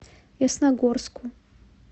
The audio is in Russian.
ясногорску